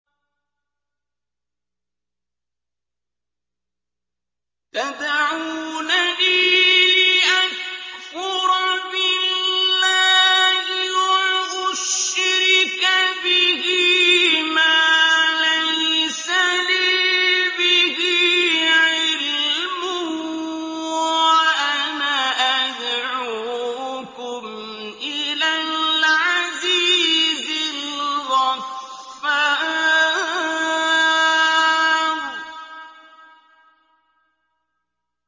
تَدْعُونَنِي لِأَكْفُرَ بِاللَّهِ وَأُشْرِكَ بِهِ مَا لَيْسَ لِي بِهِ عِلْمٌ وَأَنَا أَدْعُوكُمْ إِلَى الْعَزِيزِ الْغَفَّارِ